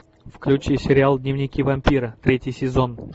включи сериал дневники вампира третий сезон